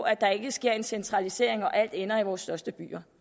at der ikke sker en centralisering og at alt ender i vores største byer